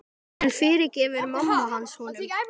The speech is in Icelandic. En fyrirgefur mamma hans honum?